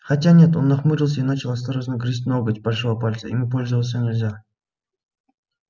хотя нет он нахмурился и начал осторожно грызть ноготь большого пальца ими пользоваться нельзя